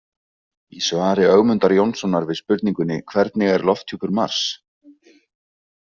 Í svari Ögmundar Jónssonar við spurningunni Hvernig er lofthjúpur Mars?